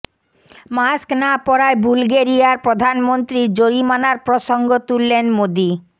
mask না পরায় বুলগেরিয়ার প্রধানমন্ত্রীর জরিমানার প্রসঙ্গ তুললেন মোদি